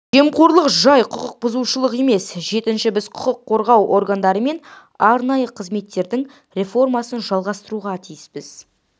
жемқорлық жай құқық бұзушылық емес жетінші біз құқық қорғау органдары мен арнайы қызметтердің реформасын жалғастыруға тиіспіз